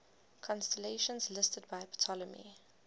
constellations listed by ptolemy